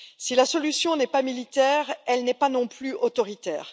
Si la solution n'est pas militaire, elle n'est pas non plus autoritaire.